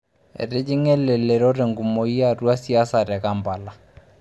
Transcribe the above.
Etijinga elelero tenkumoki atua siasa te Kampala.